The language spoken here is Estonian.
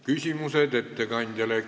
Küsimused ettekandjale.